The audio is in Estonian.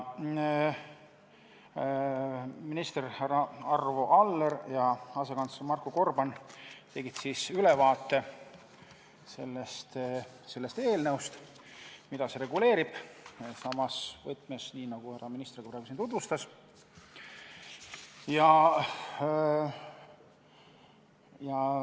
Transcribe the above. Minister härra Arvo Aller ja asekantsler Marko Gorban tegid ülevaate sellest eelnõust ja sellest, mida see reguleerib, samas võtmes, nii nagu härra minister praegu siin tutvustas.